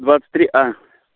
двадцать три а